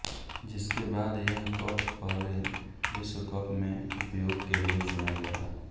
जिसके बाद यह कप पहले विश्व कप मे उपयोग के लिए चुना गया